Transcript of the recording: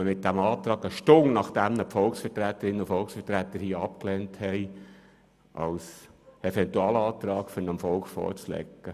Eine Stunde später kommt man nun mit einem Eventualantrag, um den abgelehnten Antrag dem Volk vorzulegen.